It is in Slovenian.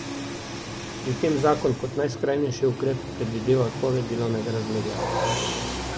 Pri tem zakon kot najskrajnejši ukrep predvideva odpoved delovnega razmerja.